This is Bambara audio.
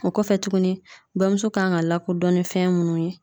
O kɔfɛ tuguni bamuso kan ka lakodɔn ni fɛn munnu ye